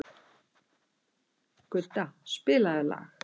Gudda, spilaðu lag.